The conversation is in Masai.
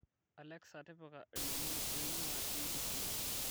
alexa tipika ilomon oing'uaa k.b.c